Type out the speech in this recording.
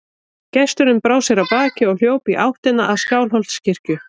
Gesturinn brá sér af baki og hljóp í áttina að Skálholtskirkju.